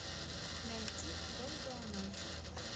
найти долгая ночь